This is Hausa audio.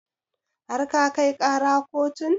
Har ka kai ƙara kotun?